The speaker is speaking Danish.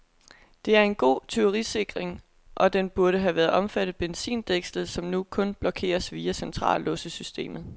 Det er en god tyverisikring, og den burde have omfattet benzindækslet, som nu kun blokeres via centrallåssystemet.